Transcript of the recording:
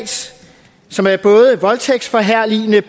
som er voldtægtsforherligende